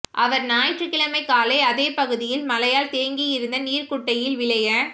அவா் ஞாயிற்றுகிழமை காலை அதே பகுதியில் மழையால் தேங்கியிருந்த நீா்க்குட்டையில் விளைய